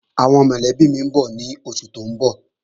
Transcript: Àwọn mọ̀lẹ́bí mi ń bọ̀ lóṣù tó ń bọ̀